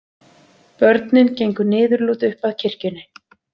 Börnin gengu niðurlút upp að kirkjunni.